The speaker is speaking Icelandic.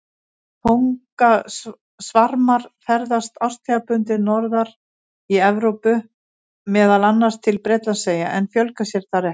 Kóngasvarmar ferðast árstíðabundið norðar í Evrópu, meðal annars til Bretlandseyja, en fjölga sér þar ekki.